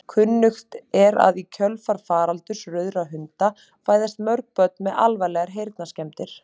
Kunnugt er að í kjölfar faraldurs rauðra hunda fæðast mörg börn með alvarlegar heyrnarskemmdir.